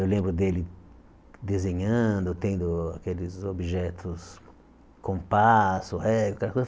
Eu lembro dele desenhando, tendo aqueles objetos, compasso, régua, aquela coisa.